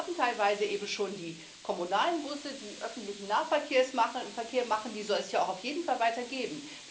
Wir haben teilweise eben schon die kommunalen Busse, die öffentlichen Nahverkehr machen die soll es ja auch auf jeden Fall weiter geben.